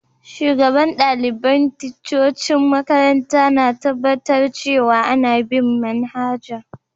Shugaban dalibain ticcocin makaranta na tabatar cewa ana bin' manhajan'.